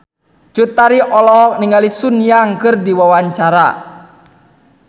Cut Tari olohok ningali Sun Yang keur diwawancara